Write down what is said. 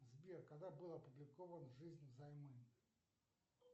сбер когда был опубликован жизнь взаймы